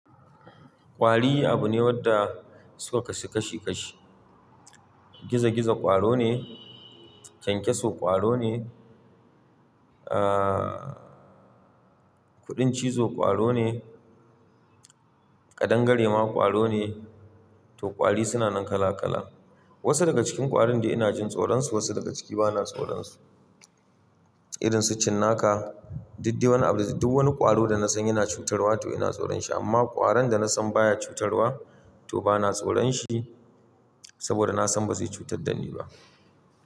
Ƙwari abu ne wanda suka kasu kashi kashi. Gizo-gizo ƙwaro ne, kyankyaso ƙwaro ne, ah, kuɗin cizo ƙwaro ne, kaɗangare ma ƙwaro ne. To ƙwari suna nan kala kala. Wasu daga cikin ƙwarin dai ina jin tsoron su, wasu daga ciki bana tsoron su. Irin su cinnaka, daddewa, abinci. Duk wani ƙwaro da na san yana cutarwa to ina tsoron shi amma ƙwaron da na san baya cutarwa to bana tsoron shi saboda na san ba zai cutar da ni ba.